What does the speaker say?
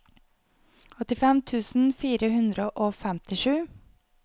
åttifem tusen fire hundre og femtisju